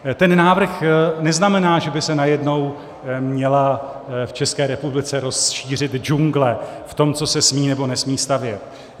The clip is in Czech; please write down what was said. Ten návrh neznamená, že by se najednou měla v České republice rozšířit džungle v tom, co se smí nebo nesmí stavět.